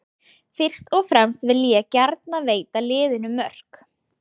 Fyrst og fremst vil ég gjarnan veita liðinu mörk.